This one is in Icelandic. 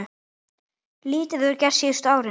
Lítið hefur gerst síðustu árin.